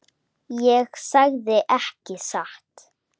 Ég sagði ekki satt.